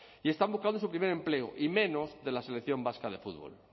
y están buscando su primer empleo y menos de la selección vasca de fútbol